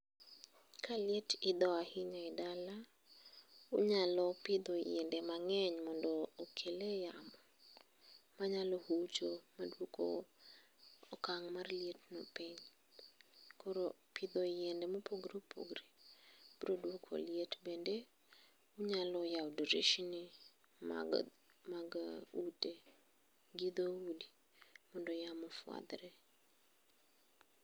Kaliet itho ahinya e dala unyalo pitho yiende mange'ny mondo okele yama, manyalo ucho maduoko okang' mar lietno piny koro pitho yiende ma opogore opogore broduoko liet bende inyalo yawo dirisni mag Ute gi thoudi mondo yamo ufuathre